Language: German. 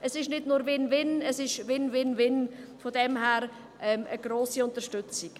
Es ist nicht nur Winwin, sondern gar ein «Win-win-win» und daher eine grosse Unterstützung.